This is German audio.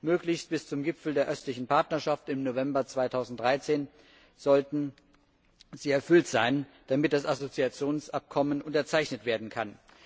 Möglichst bis zum Gipfel der Östlichen Partnerschaft im November 2013 sollten sie erfüllt sein, damit das Assoziationsabkommen unterzeichnet werden kann.